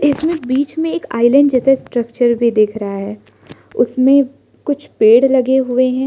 इसमें बीच में एक आइलैंड जैसे स्ट्रक्चर भी देख रहा है उसमें कुछ पेड़ लगे हुए हैं।